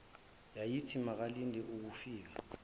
yayithi makalindele ukufika